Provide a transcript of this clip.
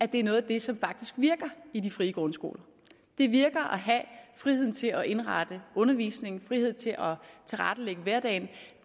det er noget af det som faktisk virker i de frie grundskoler det virker at have frihed til at indrette undervisningen frihed til at tilrettelægge hverdagen